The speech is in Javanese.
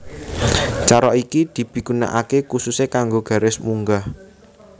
Cara iki dipigunakaké khususé kanggo garis munggah